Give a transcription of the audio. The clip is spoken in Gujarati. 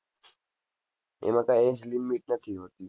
એમાં કાંઈ age limit નથી હોતી.